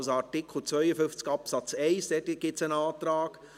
Zu Artikel 52 Absatz 1 gibt es einen Antrag.